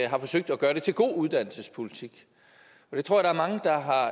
har forsøgt at gøre det til god uddannelsespolitik